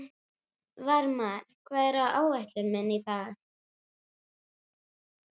Varmar, hvað er á áætluninni minni í dag?